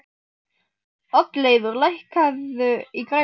Oddleifur, lækkaðu í græjunum.